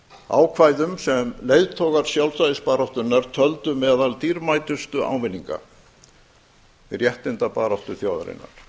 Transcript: ákvæðum sem leiðtogar sjálfstæðisbaráttunnar töldu meðal dýrmætustu ávinninga í réttindabaráttu þjóðarinnar